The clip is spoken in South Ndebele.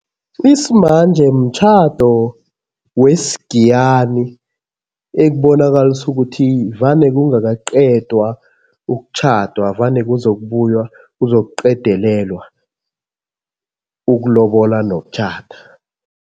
Isimanje mtjhado wesigiyani ekubonakalisa ukuthi vane kungakaqedwa ukutjhadwa, vane kuzokubuywa kuzokuqedelelwa ukulobola nokutjhada.